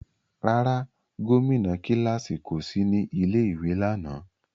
Rárá, gomina kilasi ko si ni ilé ìwé lánà.